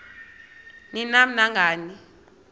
ni nam nangani